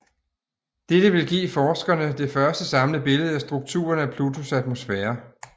Dette vil give forskerne det første samlede billede af strukturen af Plutos atmosfære